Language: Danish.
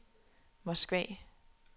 Moskva